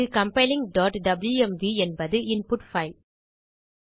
இங்கு compilingடப்ளூஎம்வி என்பது இன்புட் பைல்